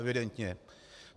Evidentně.